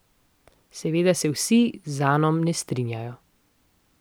Seveda se vsi z Anom ne strinjajo.